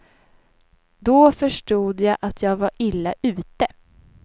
Då förstod jag att jag var illa ute.